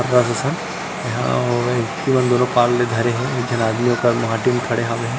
सन यहाँ अऊ व्यक्ति मन दोनों पार ले धरे हे एक झन आदमी ओकर माटी म खड़े हावे।